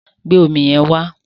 Gbé omi yẹn wá!